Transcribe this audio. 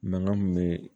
Mankan min bɛ